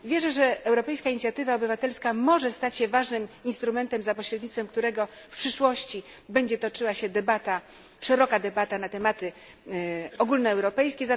Wierzę, że europejska inicjatywa obywatelska może stać się ważnym instrumentem, za pośrednictwem którego w przyszłości będzie toczyła się debata, szeroka debata na tematy ogólnoeuropejskie.